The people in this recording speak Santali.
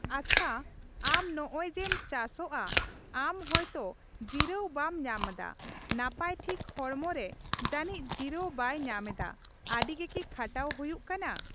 ᱟᱪᱷᱟ ᱟᱢ ᱱᱚᱜᱼᱚᱭ ᱡᱮᱢ ᱪᱟᱥᱚᱜᱼᱟ ᱟᱢ ᱦᱚᱭᱛᱚ ᱡᱤᱨᱟᱹᱣ ᱵᱟᱢ ᱧᱟᱢᱫᱟ ᱱᱟᱯᱟᱭ ᱴᱷᱤᱠ ᱦᱚᱲᱢᱚ ᱨᱮ ᱡᱟᱱᱤᱪ ᱡᱤᱨᱟᱹᱣ ᱵᱟᱭ ᱧᱟᱢᱫᱟ ᱟᱹᱰᱤᱜᱮ ᱠᱤ ᱠᱷᱟᱴᱟᱣ ᱦᱩᱭᱩᱜ ᱠᱟᱱᱟ ᱾